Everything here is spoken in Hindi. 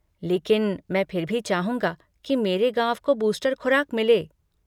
लेकिन मैं फिर भी चाहूँगा कि मेरे गाँव को बूस्टर खुराक मिले।